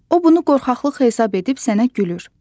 O bunu qorxaqlıq hesab edib sənə gülür.